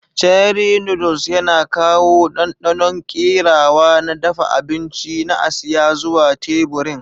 Cherie noodles yana kawo ɗanɗanon kerawa na dafa abinci na Asiya zuwa teburin.